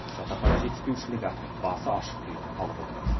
жатақхана жетіспеушілігі басы ашық күйінде қалып отыр